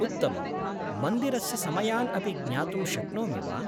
उत्तमम्! मन्दिरस्य समयान् अपि ज्ञातुं शक्नोमि वा?